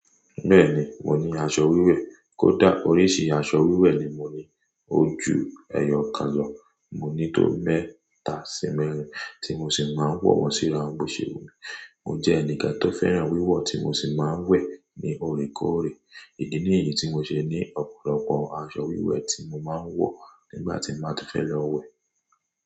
Bẹ́ẹ̀ni, mo ní aṣọ wíwẹ̀. Kódà oríṣi aṣọ wíwẹ̀ ni mo ní. O ju ẹyọ kan lọ. Mo ní tó mẹ́ta sí mẹ́rin tí mo sì máa ń wọ̀ wọ́n sí ara òun bo ṣe wù mí. Mo jẹ́ ẹnìkan tó fẹ́ràn wíwọ̀ tí mo sì máa ń wẹ̀ ní òrékòóré. Idí ni èyí tí mo ṣe ní ọ̀pọ̀lọpọ̀ aṣọ wíwẹ̀ tí mo máa ń wọ̀ nígbà tí m bá ti fẹ́ lọ wẹ̀.